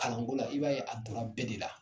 Kalanko la i b'a ye a donna bɛɛ de la.